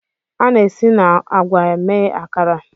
A na-esi na agwa mee Akara.